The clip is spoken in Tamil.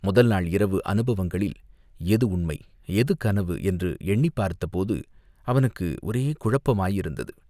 முதல் நாள் இரவு அனுபவங்களில் எது உண்மை, எது கனவு என்று எண்ணிப் பார்த்தபோது அவனுக்கு ஒரே குழப்பமாயிருந்தது.